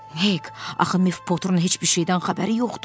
Hek, axı Mev Poterin heç bir şeydən xəbəri yoxdur.